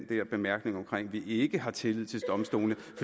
der bemærkning om at vi ikke har tillid til domstolene